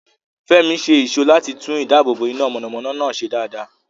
Fẹ́mi ṣe ìṣó láti tún ìdáàbòbò iná mọ̀nàmọ́ná náà ṣe dáadáa.